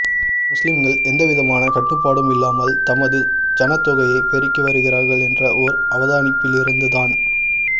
முஸ்லிம்கள் எந்தவிதமான கட்டுப்பாடும் இல்லாமல் தமது சனத்தொகையை பெருக்கி வருகிறார்கள் என்ற ஓர் அவதானிப்பிலிருந்துதான்